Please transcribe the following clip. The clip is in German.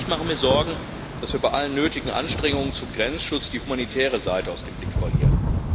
Ich mache mir Sorgen, dass wir bei allen nötigen Anstrengungen zum Grenzschutz die humanitäre Seite aus dem Blick verlieren.